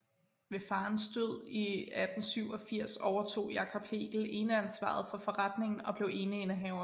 Ved farens død i 1887 overtog Jacob Hegel eneansvaret for forretningen og blev eneindehaver